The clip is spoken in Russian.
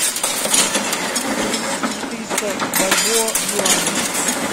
перевести четыреста бальбоа в юани